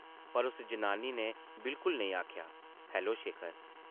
पर उस जनानी नै बिल्कुल नेईं आखेआ, ‘‘हैलो शेखर! ’’